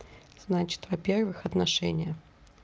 значит во-первых отношения